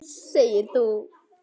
Segir þú.